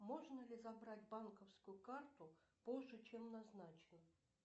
можно ли забрать банковскую карту позже чем назначено